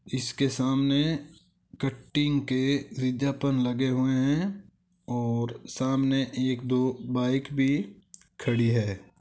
इसके सामने कटिंग के विज्ञापन लगे हुए हैं और सामने एक दो बाइक भी खड़ी है।